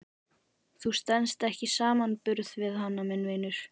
Þú stenst ekki samanburð við hana minn vinur.